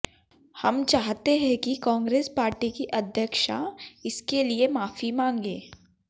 हम चाहते है कि कांग्रेस पार्टी की अध्यक्षा इसके लिए माफी मांगे